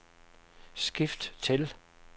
skift til